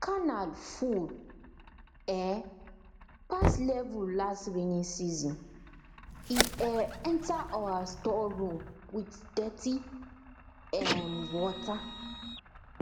canal full um pass level last rainy season um enter our store room with dirty um water